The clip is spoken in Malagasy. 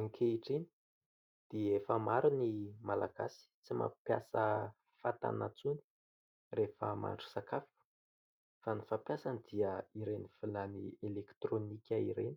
Ankehitriny dia efa maro ny Malagasy tsy mampiasa fatana intsony rehefa mahandro sakafo fa ny fampiasany dia ireny vilany elektirônika ireny